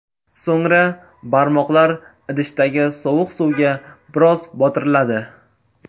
So‘ngra barmoqlar idishdagi sovuq suvga biroz botiriladi.